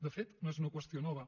de fet no és una qüestió nova